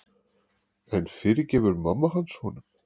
En fyrirgefur mamma hans honum?